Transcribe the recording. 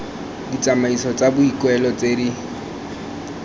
ditsamaiso tsa boikuelo tse di